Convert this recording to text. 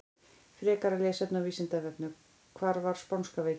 Frekara lesefni á Vísindavefnum: Hvað var spánska veikin?